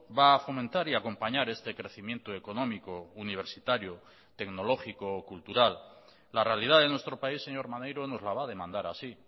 va a fomentar y a acompañar este crecimiento económico universitario tecnológico o cultural la realidad de nuestro país señor maneiro nos la va a demandar así